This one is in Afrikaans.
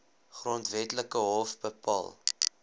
grondwetlike hof bepaal